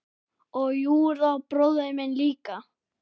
Og Júra bróðir minn líka.